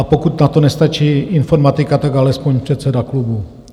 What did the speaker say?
A pokud na to nestačí informatika, tak alespoň předseda klubu.